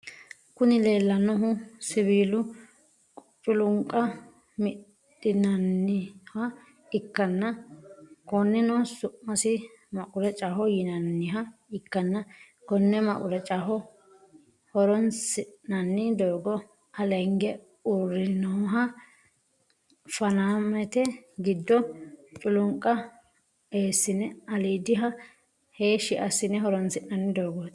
kuni lelanohu siwil culuniqqa midhinaniha ikana koneno su'masi maqqurechaho yinaniha ikana koone maqqurechano horronisinanni dogo alege urinoha fanamete gido culunqqa esine alidhiha heshsh asine horonisinanni dogoti.